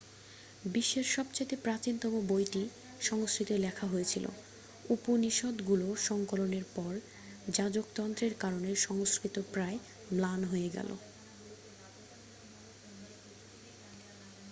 বিশ্বের সবথেকে প্রাচীনতম বইটি সংস্কৃত-এ লেখা হয়েছিল উপনিষদগুলি সংকলনের পর যাজকতন্ত্রের কারণে সংস্কৃত প্রায় ম্লান হয়ে গেল